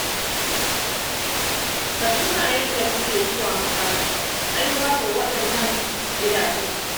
Ka tuna yadda muke zuwa makaranta ai babu waɗannan gidajen.